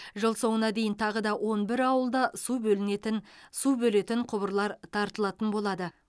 жыл соңына дейін тағы да он бір ауылда су бөлінетін су бөлетін құбырлар тартылатын болады